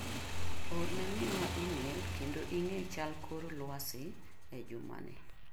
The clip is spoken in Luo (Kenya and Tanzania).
Orne minwa imel kendo ing'e kor chal lwasi e juma ni.